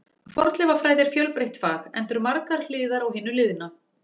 Fornleifafræði er fjölbreytt fag, enda eru margar hliðar á hinu liðna.